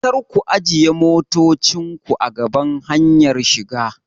Karku ajiye motocinku a gaban hanyar shiga!